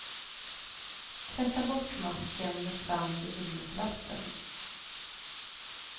Tvätta bort masken med svamp och ljummet vatten.